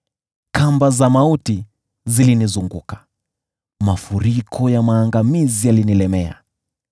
Kamba za mauti zilinizunguka, mafuriko ya maangamizi yalinilemea.